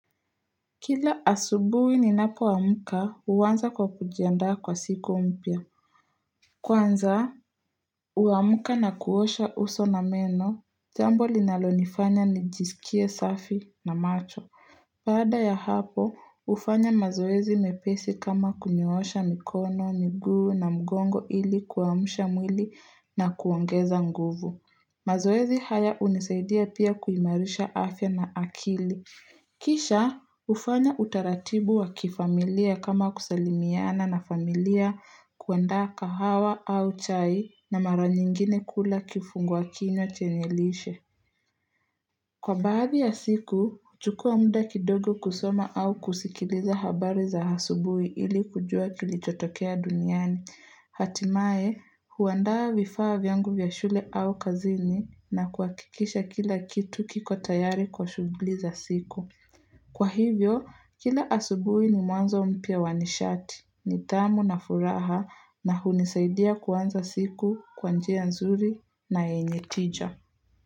Kila asubuhi ninapo amka uwanza kwa kujiandaa kwa siku umpya Kwanza, uamka na kuosha uso na meno, jambo linalonifanya nijisikie safi na macho Pada ya hapo, ufanya mazoezi mepesi kama kunyoosha mikono, miguu na mgongo ili kuamsha mwili na kuongeza nguvu mazoezi haya unisaidia pia kuimarisha afya na akili Kisha hufanya utaratibu wa kifamilia kama kusalimiana na familia kuandaa kahawa au chai na mara nyingine kula kifungua kinywa chenye lishe. Kwa baadhi ya siku, chukua muda kidogo kusoma au kusikiliza habari za hasubui ili kujua kilichotokea duniani. Hatimaye, huandaa vifaa vyangu vya shule au kazini na kuakikisha kila kitu kiko tayari kwa shughuli za siku. Kwa hivyo, kila asubui ni mwanzo mpya wanishati, ni tamu na furaha na hunisaidia kwanza siku kwa njia nzuri na yenye tija.